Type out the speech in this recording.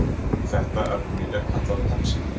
Þetta efni er kallað pepsín.